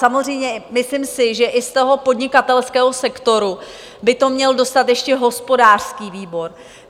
Samozřejmě si myslím, že i z toho podnikatelského sektoru by to měl dostat ještě hospodářský výbor.